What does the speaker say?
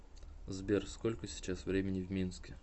сбер сколько сейчас времени в минске